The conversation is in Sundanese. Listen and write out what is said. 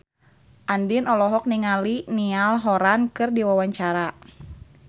Andien olohok ningali Niall Horran keur diwawancara